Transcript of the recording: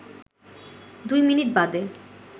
দুই মিনিট বাদে